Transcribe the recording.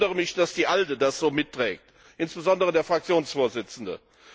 Ich wundere mich, dass die ALDE Fraktion das so mitträgt, insbesondere der Fraktionsvorsitzende.